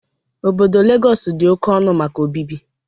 Obodo Legọs dị oke ọnụ maka obibi.